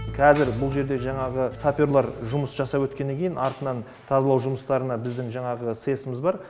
қазір бұл жерде жаңағы саперлар жұмыс жасап өткеннен кейін артынан тазалау жұмыстарына біздің жаңағы сэс ымыз бар